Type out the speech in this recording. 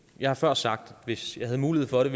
jeg har før sagt at hvis jeg havde mulighed for det